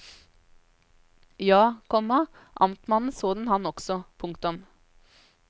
Ja, komma amtmannen så den han også. punktum